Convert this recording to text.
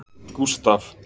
Gustav